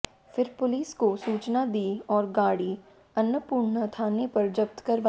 फिर पुलिस को सूचना दी और गाड़ी अन्नापूर्णा थाने पर जब्त करवाई